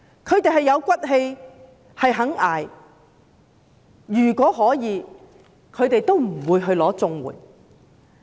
他們有骨氣、願意捱苦，如果可以的話都不會申領綜援。